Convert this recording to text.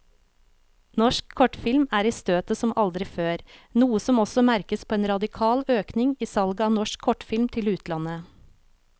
Norsk kortfilm er i støtet som aldri før, noe som også merkes på en radikal økning i salget av norsk kortfilm til utlandet.